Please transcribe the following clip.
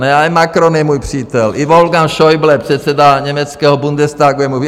Ne, i Macron je můj přítel, i Wolfgang Schäuble, předseda německého Bundestagu, je můj...